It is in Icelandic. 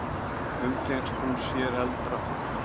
Umgengst hún sér eldra fólk?